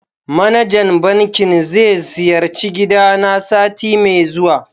manajan banking ze siyarci gidana sati me zuwa.